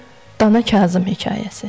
Dana Kazım hekayəsi.